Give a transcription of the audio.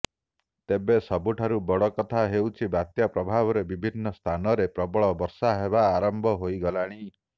ତେବେ ସବୁଠାରୁ ବଡ କଥା ହେଉଛି ବାତ୍ୟା ପ୍ରଭାବରେ ବିଭିନ୍ନ ସ୍ଥାନରେ ପ୍ରବଳ ବର୍ଷା ହେବା ଆରମ୍ଭ ହୋଇଗଲାଣି